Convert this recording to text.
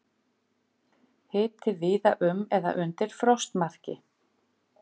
Hiti víða um eða undir frostmarki